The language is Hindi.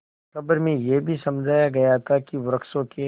खबर में यह भी समझाया गया था कि वृक्षों के